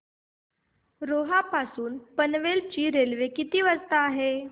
रोहा पासून पनवेल ची रेल्वे किती वाजता आहे